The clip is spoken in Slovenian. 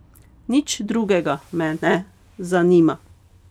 Nič drugega me ne zanima.